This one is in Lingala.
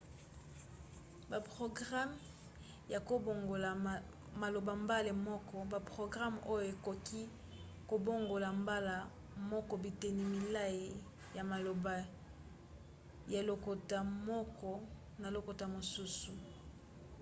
baprograme ya kobongola maloba mbala moko – baprograme oyo ekoki kobongola mbala moko biteni milai ya maloba ya lokota moko na lokota mosusu